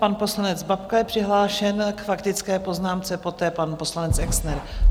Pan poslanec Babka je přihlášen k faktické poznámce, poté pan poslanec Exner.